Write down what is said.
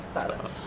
Minnətdarıq.